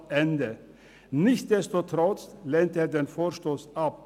» Nichtsdestotrotz lehnt er den Vorstoss ab.